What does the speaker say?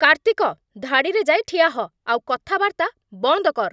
କାର୍ତ୍ତିକ! ଧାଡ଼ିରେ ଯାଇ ଠିଆ ହ' ଆଉ କଥାବାର୍ତ୍ତା ବନ୍ଦ କର୍ ।